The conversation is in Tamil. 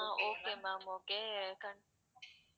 okay ma'am okay